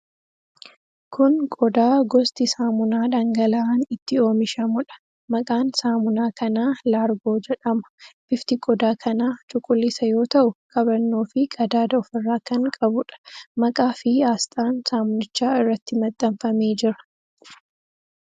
Kun qodaa gosti saamunaa dhangala'aan itti oomishamuudha. Maqaan saamunaa kanaa 'largo' jedhama. Bifti qodaa kanaa cuquliisa yoo ta'u, qabannoofi qadaada ofirraa kan qabuudha. Maqaa fi aasxaan saamunichaa irratti maxxanfamee jira.